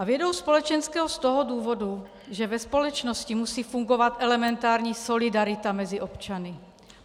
A vědou společenskou z toho důvodu, že ve společnosti musí fungovat elementární solidarita mezi občany.